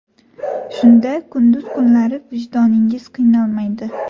Shunda kunduz kunlari vijdoningiz qiynalmaydi.